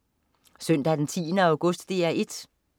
Søndag den 10. august - DR 1: